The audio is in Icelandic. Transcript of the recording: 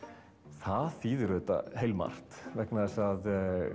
það þýðir auðvitað heilmargt vegna þess að